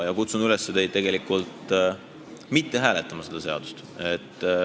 Ja kutsun teid üles mitte hääletama seda seadust.